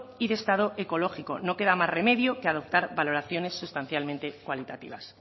y de estado ecológico no queda más remedio que adoptar valoraciones sustancialmente cualitativas